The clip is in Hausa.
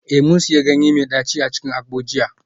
Eh, mun sanya ganye mai daci a cikin agbo jiya